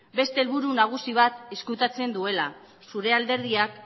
beste helburu nagusi bat ezkutatzen duela zure alderdiak